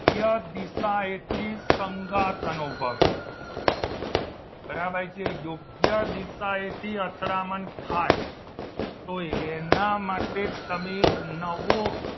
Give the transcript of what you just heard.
યોગ્ય દિશાએથી સંગાથ અનુભવે બરાબર છે યોગ્ય યોગ્ય દિશા એથી અથડામણ થાય તો એના માટે તમે એક નવો